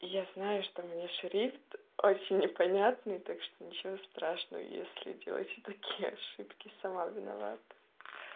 я знаю что меня шрифт очень непонятный так что ничего страшного если делаете такие ошибки сама виновата